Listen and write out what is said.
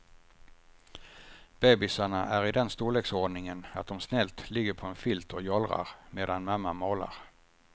Bebisarna är i den storleksordningen att de snällt ligger på en filt och jollrar medan mamma målar.